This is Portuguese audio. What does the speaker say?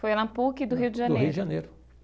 Foi na PUC do Rio de Janeiro. Do Rio de Janeiro.